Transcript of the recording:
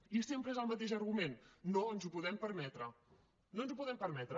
i sempre és el mateix argument no ens ho podem permetre no ens ho podem permetre